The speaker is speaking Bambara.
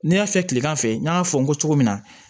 Ne y'a fɛ tilegan fɛ n y'a fɔ n ko cogo min na